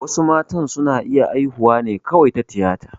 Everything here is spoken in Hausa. Wasu matan su na iya haihuwa ne kawai ta tiyata